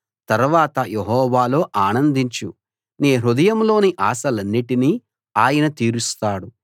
తర్వాత యెహోవాలో ఆనందించు నీ హృదయంలోని ఆశలన్నిటినీ ఆయన తీరుస్తాడు